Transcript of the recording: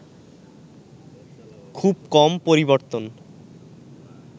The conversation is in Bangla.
খুব কম পরিবর্তন